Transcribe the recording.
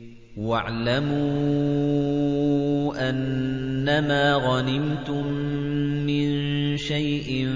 ۞ وَاعْلَمُوا أَنَّمَا غَنِمْتُم مِّن شَيْءٍ